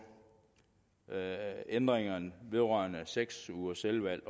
ændringerne vedrørende seks ugers selvvalgt